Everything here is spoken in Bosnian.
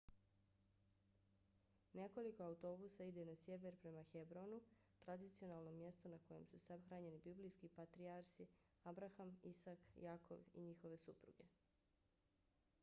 nekoliko autobusa ide na sjever prema hebronu tradicionalnom mjestu na kojem su sahranjeni biblijski patrijarsi abraham isak jakov i njihove supruge